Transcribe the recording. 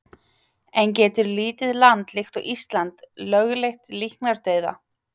En getur lítið land líkt og Ísland lögleitt líknardauða?